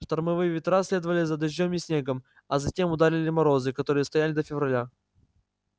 штормовые ветра следовали за дождём и снегом а затем ударили морозы которые стояли до февраля